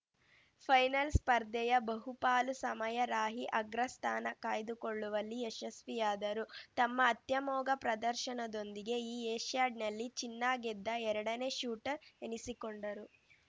final ಸ್ಪರ್ಧೆಯ ಬಹು ಪಾಲು ಸಮಯ ರಾಹಿ ಅಗ್ರಸ್ಥಾನ ಕಾಯ್ದುಕೊಳ್ಳುವಲ್ಲಿ ಯಶಸ್ವಿಯಾದರು ತಮ್ಮ ಅತ್ಯಮೋಘ ಪ್ರದರ್ಶನದೊಂದಿಗೆ ಈ ಏಷ್ಯಾಡ್‌ನಲ್ಲಿ ಚಿನ್ನ ಗೆದ್ದ ಎರಡನೇ ಶೂಟರ್ ಎನಿಸಿಕೊಂಡರು